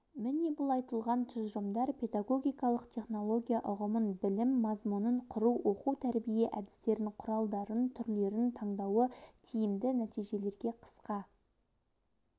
міне бұл айтылған тұжырымдар педагогикалық технология ұғымын білім мазмұнын құру оқу-тәрбие әдістерін құралдарын түрлерін таңдауы тиімді нәтижелерге қысқа